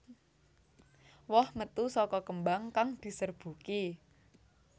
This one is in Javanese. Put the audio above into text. Woh metu saka kembang kang diserbuki